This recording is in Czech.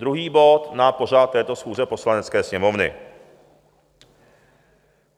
Druhý bod na pořad této schůze Poslanecké sněmovny.